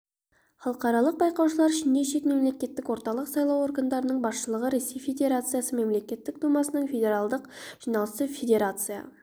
халықаралық байқаушылар ішінде шет мемлекеттің орталық сайлау органдарының басшылығы ресей федерациясы мемлекеттік думасының федералдық жиналысы федерация